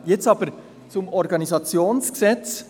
Jetzt aber zum OrG: